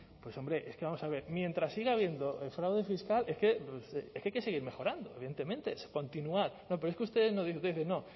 pues hombre es que vamos a ver mientras siga habiendo fraude fiscal es que es que hay que seguir mejorando evidentemente continuar no pero es que ustedes nos dicen no